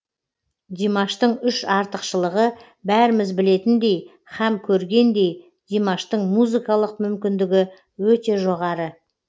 димаштың үш артықшылығы бәріміз білетіндей һәм көргендей димаштың музыкалық мүмкіндігі өте жоғары